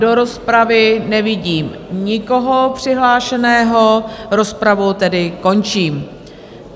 Do rozpravy nevidím nikoho přihlášeného, rozpravu tedy končím.